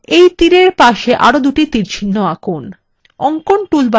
এই তীর arrow পাশে arrow দুটি তীরচিহ্ন আঁকুন